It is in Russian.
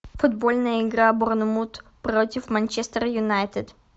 футбольная игра борнмут против манчестер юнайтед